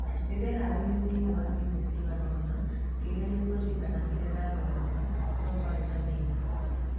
Nĩndeharĩirĩe thĩinĩĩ wa ciumĩa cigana ona ngĩgerĩa kũrĩrĩkana kĩrĩa ndathomoga no nĩkwarĩ na thĩna .